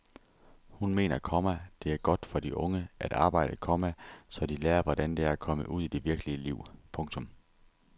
Hun mener, komma det er godt for de unge at arbejde, komma så de lærer hvordan det er at komme ud i det virkelige liv. punktum